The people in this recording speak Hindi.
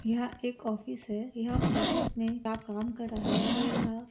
यह एक ऑफिस हैं यह ऑफिस में आप काम कर रहे हैं और यह--